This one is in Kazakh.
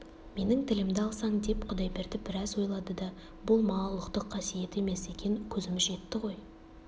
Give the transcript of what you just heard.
менің тілімді алсаң деп құдайберді біраз ойлады да болма ұлықтық қасиет емес екен көзіміз жетті ғой